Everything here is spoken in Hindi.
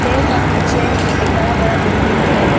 पेड़ का पीछे एक बड़ा बड़ा बिल्डिंग्स है।